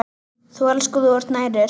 Þú elskar og þú nærir.